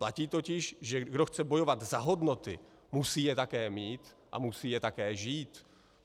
Platí totiž, že kdo chce bojovat za hodnoty, musí je také mít a musí je také žít.